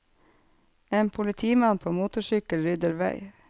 En politimann på motorsykkel rydder vei.